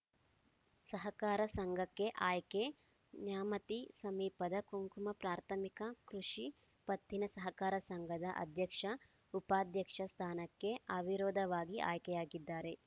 ಸಹಕಾರ ಸಂಘಕ್ಕೆ ಆಯ್ಕೆ ನ್ಯಾಮತಿ ಸಮೀಪದ ಕುಂಕುವ ಪ್ರಾಥಮಿಕ ಕೃಷಿ ಪತ್ತಿನ ಸಹಕಾರ ಸಂಘದ ಅಧ್ಯಕ್ಷಉಪಾಧ್ಯಕ್ಷ ಸ್ಥಾನಕ್ಕೆ ಅವಿರೋಧವಾಗಿ ಆಯ್ಕೆಯಾಗಿದ್ದಾರೆ